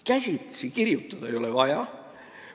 Käsitsi kirjutamist ei ole enam vaja.